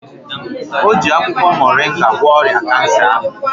O ji akwụkwọ moringa gwọọ ọrịa Kansa ahụ.